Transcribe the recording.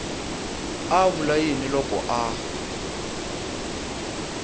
a vula yini loko a